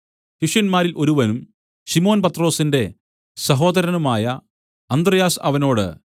ശിഷ്യന്മാരിൽ ഒരുവനും ശിമോൻ പത്രൊസിന്റെ സഹോദരനുമായ അന്ത്രെയാസ് അവനോട്